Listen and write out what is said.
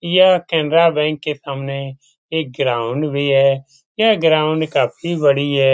यह केनरा बैंक के सामने एक ग्राउंड भी है यह ग्राउंड काफी बड़ी है|